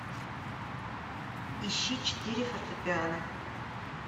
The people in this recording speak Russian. ищи четыре фортепиано